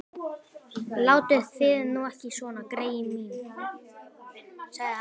Látið þið nú ekki svona, greyin mín sagði hann.